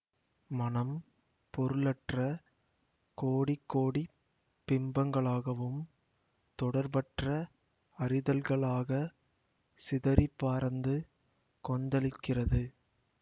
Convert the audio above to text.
மனம் பொருளற்ற கோடிகோடிப் பிம்பங்களாகவும் தொடர்பற்ற அறிதல்களாக சிதறிப்பரந்து கொந்தளிக்கிறது